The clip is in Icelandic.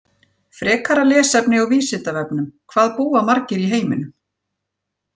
Frekara lesefni á Vísindavefnum: Hvað búa margir í heiminum?